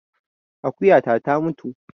Akuyata ta mutu